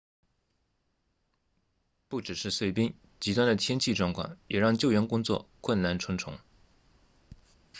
不只是碎冰极端的天气状况也让救援工作困难重重